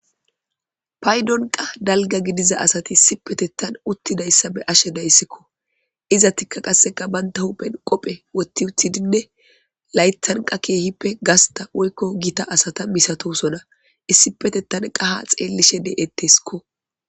Paydonqa dalga gidiza asati issi petettan uttidayssa be ashe deyssikko iza tikka qasseka baynta hupen qophe wotti uthidinne laytanqa keehippe gasta woykko gita asata misatosona issi petettan qaha xeellishe de'etteskko.